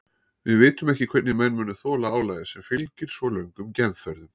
Við vitum ekki hvernig menn muni þola álagið sem fylgir svo löngum geimferðum.